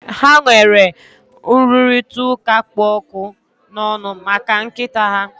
Ha nwere nrụrịtaụ́ká kpụ ọkụ n'ọnụ maka nkịta a